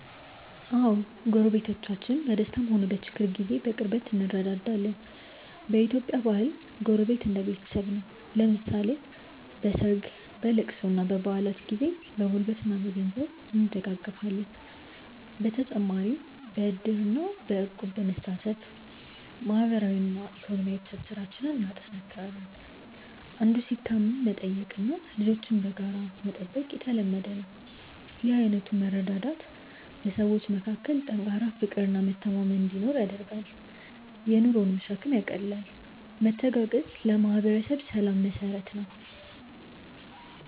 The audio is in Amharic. አዎ፣ ጎረቤቶቻችን በደስታም ሆነ በችግር ጊዜ በቅርበት እንረዳዳለን። በኢትዮጵያ ባህል ጎረቤት እንደ ቤተሰብ ነው፤ ለምሳሌ በሰርግ፣ በልቅሶና በበዓላት ጊዜ በጉልበትና በገንዘብ እንደጋገፋለን። በተጨማሪም በዕድርና በእቁብ በመሳተፍ ማህበራዊና ኢኮኖሚያዊ ትስስራችንን እናጠናክራለን። አንዱ ሲታመም መጠየቅና ልጆችን በጋራ መጠበቅ የተለመደ ነው። ይህ አይነቱ መረዳዳት በሰዎች መካከል ጠንካራ ፍቅርና መተማመን እንዲኖር ያደርጋል፤ የኑሮንም ሸክም ያቃልላል። መተጋገዝ ለማህበረሰብ ሰላም መሰረት ነው።